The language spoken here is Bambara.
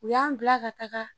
U y'an bila ka taga